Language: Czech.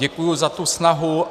Děkuji za tu snahu.